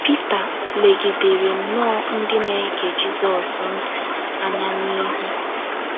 PITA legidere nnọọ ndị na - ege Jizọs ntị anya n’ihu.